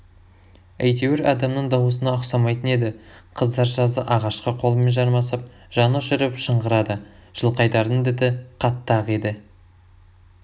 әйтеуір адамның дауысына ұқсамайтын еді қыздар жазы ағашқа қолымен жармасып жанұшырып шыңғырады жылқайдардың діті қатты-ақ еді